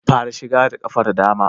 Fara shiga da ƙafar dama